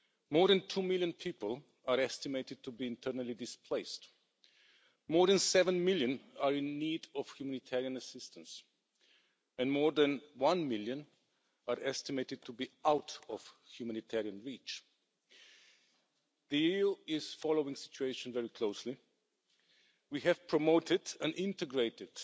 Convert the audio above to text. More than two million people are estimated to be internally displaced, more than seven million are in need of humanitarian assistance and more than one million are estimated to be out of humanitarian reach. The EU is following the situation very closely. We have promoted an integrated,